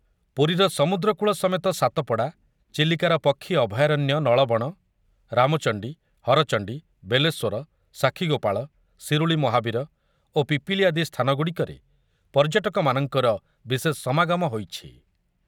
ପୁରୀର ସମୁଦ୍ରକୂଳ ସମେତ ସାତପଡ଼ା, ଚିଲିକାର ପକ୍ଷୀ ଅଭୟାରଣ୍ୟ ନଳବଣ, ରାମଚଣ୍ଡି, ହରଚଣ୍ଡି, ବେଲେଶ୍ୱର, ସାକ୍ଷୀଗୋପାଳ, ଶିରୁଳି ମହାବୀର ଓ ପିପିଲି ଆଦି ସ୍ଥାନ ଗୁଡ଼ିକରେ ପର୍ଯ୍ୟଟକମାନଙ୍କର ବିଶେଷ ସମାଗମ ହୋଇଛି।